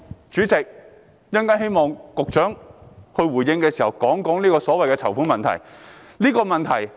主席，我希望局長稍後回應時能談談籌款的問題。